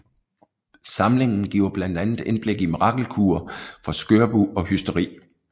Samlingen giver blandt andet indblik i mirakelkurer for skørbug og hysteri